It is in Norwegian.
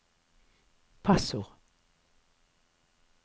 passord